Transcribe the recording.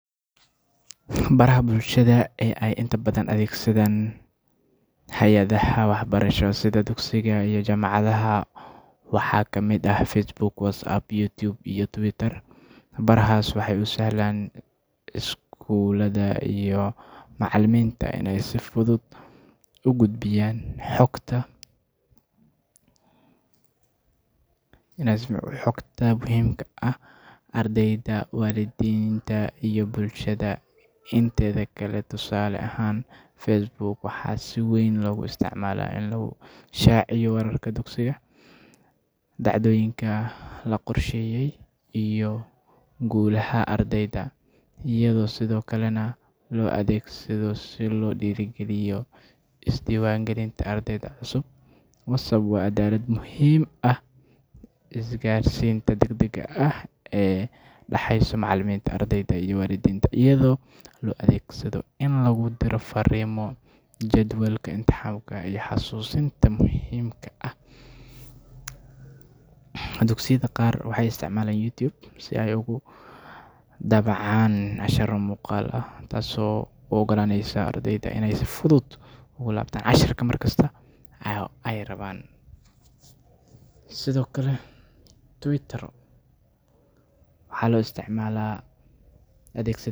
Baraha bulshada ee ay inta badan adeegsadaan hay’adaha waxbarasho sida dugsiyada iyo jaamacadaha waxaa ka mid ah Facebook, WhatsApp, YouTube, iyo Twitter. Barahaas waxay u sahlayaan iskuulada iyo macallimiinta inay si fudud ugu gudbiyaan xogta muhiimka ah ardayda, waalidiinta, iyo bulshada inteeda kale. Tusaale ahaan, Facebook waxaa si weyn loogu isticmaalaa in lagu shaaciyo wararka dugsiga, dhacdooyinka la qorsheeyay, iyo guulaha ardayda, iyadoo sidoo kalena loo adeegsado si loo dhiirrigeliyo isdiiwaangelinta ardayda cusub. WhatsApp waa aalad muhiim u ah isgaarsiinta degdegga ah ee u dhaxaysa macallimiinta, ardayda, iyo waalidiinta, iyadoo loo adeegsanayo in lagu diro fariimo, jadwalka imtixaanka, iyo xasuusinta muhiimka ah. Dugsiyada qaar waxay isticmaalaan YouTube si ay ugu daabacaan casharro muuqaal ah, taasoo u oggolaanaysa ardayda inay si fudud ugu laabtaan casharka mar kasta oo ay rabaan. Sidoo kale, Twitter waxaa loo adeegsadaa.